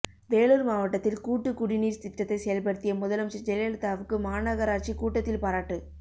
வேலூர் மாவட்டத்தில் கூட்டு குடிநீர் திட்டத்தை செயல்படுத்திய முதலமைச்சர் ஜெயலலிதாவுக்கு மாநகராட்சி கூட்டத்தில் பாராட்டு